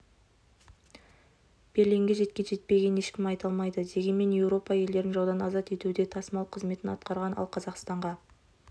берлинге жеткен-жетпегенін ешкім айта алмайды дегенмен еуропа елдерін жаудан азат етуде тасымал қызметін атқарған ал қазақстанға